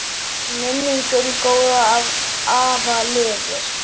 Minning um góðan afa lifir.